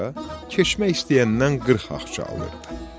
keçmək istəyəndən 40 axça alınırdı.